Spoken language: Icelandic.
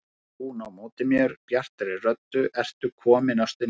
Þá tók hún á móti mér bjartri röddu: Ertu kominn ástin mín!